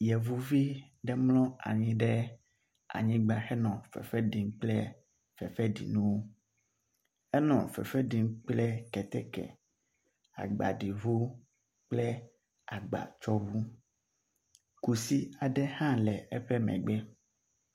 Yevuvi ɖe mlɔ anyi ɖe anyigba henɔ fefe ɖim kple fefeɖinuwo. Enɔ fefe ɖim kple keteke, agbaɖiŋu kple agbatsɔŋu. kusi aɖe hã nɔ eƒe megbe.